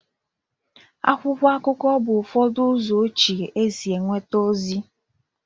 akwụkwọ akụkọ bụ ụfọdụ ụzọ ochie esi enweta ozi